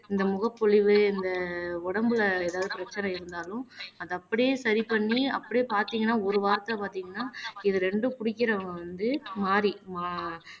இந்த முகப்பொலிவு இந்த உடம்புல ஏதாவது பிரச்சனை இருந்தாலும் அத அப்படியே சரி பண்ணி அப்படியே பாத்தீங்கன்னா ஒரு வார்த்தை பாத்தீங்கன்னா இது இரண்டும் குடிக்கிறவங்க வந்து மாறி